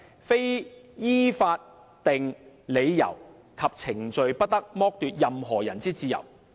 非依法定理由及程序，不得剝奪任何人之自由。